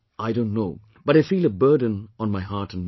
I don't know but I feel a burden on my heart and mind